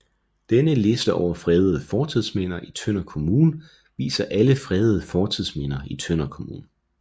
Denne liste over fredede fortidsminder i Tønder Kommune viser alle fredede fortidsminder i Tønder Kommune